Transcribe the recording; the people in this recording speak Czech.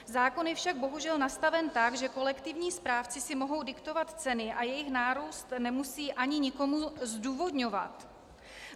Zákon je však bohužel nastaven tak, že kolektivní správci si mohou diktovat ceny a jejich nárůst nemusí ani nikomu zdůvodňovat.